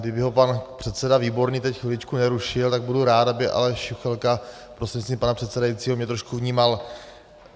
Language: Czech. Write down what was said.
Kdyby ho pan předseda Výborný teď chviličku nerušil , tak budu rád, aby Aleš Juchelka prostřednictvím pana předsedajícího mě trošku vnímal.